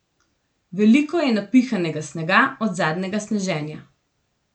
Veliko je napihanega snega od zadnjega sneženja.